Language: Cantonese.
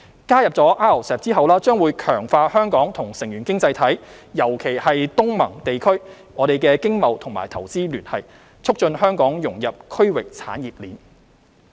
加入 RCEP 將會強化香港與成員經濟體——尤其是東盟地區——的經貿與投資聯繫，促進香港融入區域產業鏈。